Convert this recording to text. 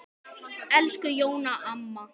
Elsku Jóna amma.